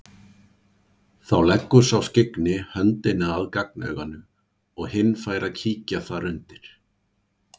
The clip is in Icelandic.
Þá leggur sá skyggni höndina að gagnauganu og hinn fær að kíkja þar undir.